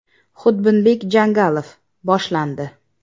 Xudbinbek Janjalov: Boshlandi.